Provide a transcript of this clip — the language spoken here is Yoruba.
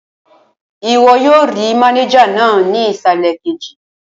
Ìwọ yóò rí mánéjà náà ní ìsàlẹ̀ kejì